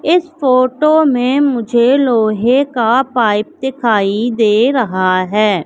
इस फोटो में मुझे लोहे का पाइप दिखाई दे रहा है।